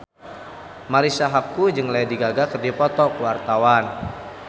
Marisa Haque jeung Lady Gaga keur dipoto ku wartawan